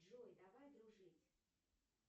джой давай дружить